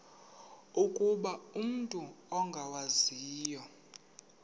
ukuba umut ongawazivo